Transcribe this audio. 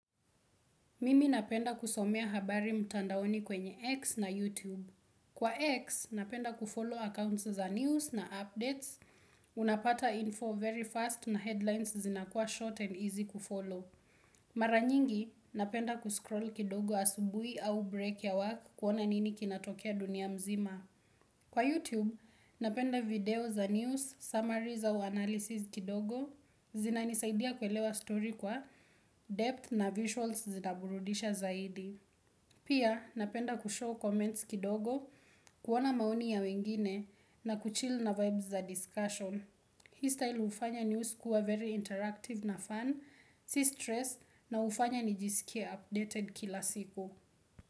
Mimi napenda kusomea habari mtandaoni kwenye X na YouTube. Kwa X, napenda kufollow accounts za news na updates. Unapata info very fast na headlines zinakua short and easy kufollow. Mara nyingi, napenda kuscroll kidogo asubuhi au break ya work kuona nini kinatokea dunia mzima. Kwa YouTube, napenda video za news, summaries au analysis kidogo. Zinanisaidia kuelewa story kwa depth na visuals zinaburudisha zaidi Pia napenda kushow comments kidogo kuona maoni ya wengine na kuchill na vibes za discussion Hii style hufanya news kuwa very interactive na fun Si stress na hufanya nijisikie updated kila siku.